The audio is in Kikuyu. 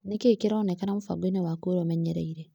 Nĩkĩĩ kĩraonkana mũbango-inĩ waku uria ũmenyereire?